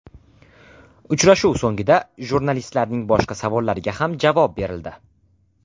Uchrashuv so‘nggida jurnalistlarning boshqa savollariga ham javob berildi.